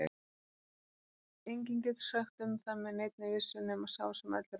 Enginn getur sagt um það með neinni vissu nema sá sem öllu ræður.